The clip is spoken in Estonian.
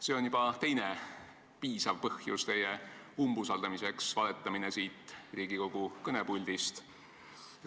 See on juba teine piisav põhjus teie umbusaldamiseks – valetamine siit Riigikogu kõnepuldist.